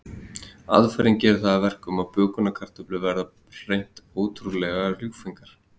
Aðferðin gerir það að verkum að bökunarkartöflurnar verða hreint ótrúlega ljúffengar.